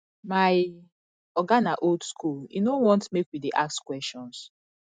my oga na old skool im no want make we dey ask questions